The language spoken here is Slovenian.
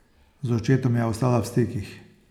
Z očetom je ostala v stikih.